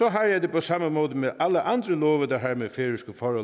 jeg det på samme måde med alle andre love der har med færøske forhold